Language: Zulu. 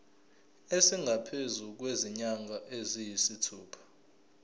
esingaphezu kwezinyanga eziyisithupha